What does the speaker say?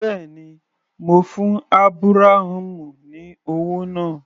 Bẹ́ẹ̀ni, mo fún Ábúráhámù ní owó náà.